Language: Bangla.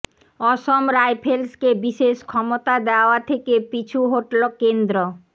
অসম রাইফেলসকে বিশেষ ক্ষমতা দেওয়া থেকে পিছু হটলো কেন্দ্ৰ